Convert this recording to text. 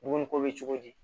Dumuni ko bɛ cogo di